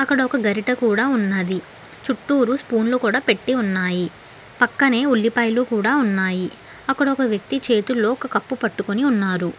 అక్కడ ఒక గరిట కూడా ఉన్నది చుట్టూరు స్పూన్లు కూడా పెట్టి ఉన్నాయి పక్కనే ఉల్లిపాయలు కూడా ఉన్నాయి అక్కడ ఒక వ్యక్తి చేతుల్లో ఒక కప్పు పట్టుకొని ఉన్నారు.